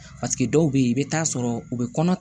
dɔw bɛ yen i bɛ t'a sɔrɔ u bɛ kɔnɔ